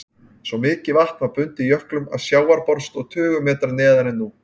Svo mikið vatn var bundið í jöklum að sjávarborð stóð tugum metra neðar en nú.